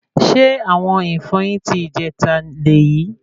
Ṣe awọn ìfọyín ti ìjẹta léyì?